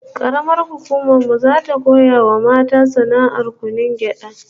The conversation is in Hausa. Karamar hukumar mu zata koya wa mata sana'ar kunun gyada